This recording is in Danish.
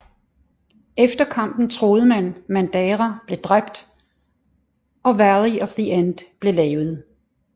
Efter kampen troede man Madara blev drabt og Valley of the End blev lavet